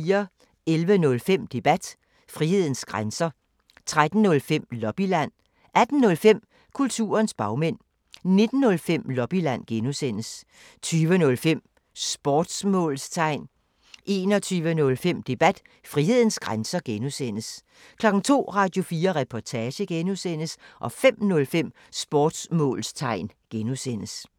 11:05: Debat: Frihedens grænser 13:05: Lobbyland 18:05: Kulturens bagmænd 19:05: Lobbyland (G) 20:05: Sportsmålstegn 21:05: Debat: Frihedens grænser (G) 02:00: Radio4 Reportage (G) 05:05: Sportsmålstegn (G)